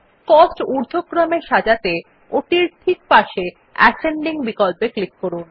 cost ঊর্ধক্রমে সাজাতে ওটির ঠিক পাশে অ্যাসেন্ডিং বিকল্পে ক্লিক করুন